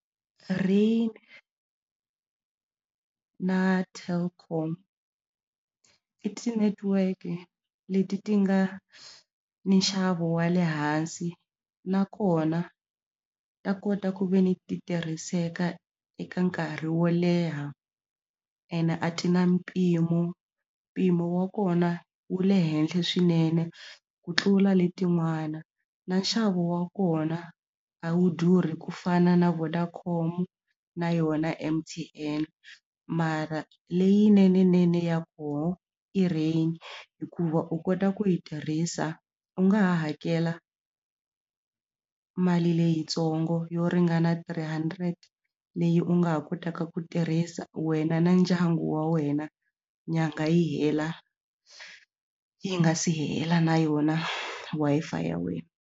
Rain na Telkom i ti-network leti ti nga ni nxavo wa le hansi nakona ta kota ku ve ni ti tirhiseka eka nkarhi wo leha ene a ti na mpimo mpimo wa kona wu le henhla swinene ku tlula letin'wana na nxavo wa kona a wu durhi ku fana na Vodacom na yona M_T_N mara leyinene nene ya koho i Rain hikuva u kota ku yi tirhisa u nga ha hakela mali leyitsongo yo ringana three hundred leyi u nga ha kotaka ku tirhisa wena na ndyangu wa wena nyangha yi hela yi nga si hela na yona Wi-Fi ya wena.